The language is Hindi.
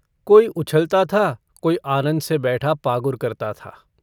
कोई उछलता था. कोई आनन्द से बैठा पागुर करता था।